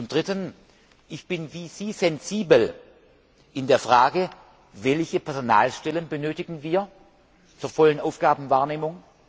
Drittens bin ich wie Sie sensibel in der Frage Welche Personalstellen benötigen wir zur vollen Aufgabenwahrnehmung?